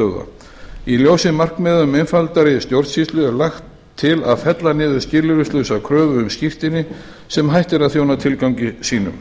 talstöðva í ljósi markmiða um einfaldari stjórnsýslu er lagt til að fella niður skilyrðislausa kröfu um skírteini sem hætt er að þjóna tilgangi sínum